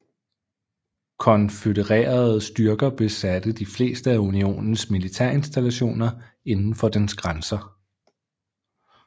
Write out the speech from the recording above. Konfødererede styrker besatte de fleste af Unionens militærinstallationer indenfor dens grænser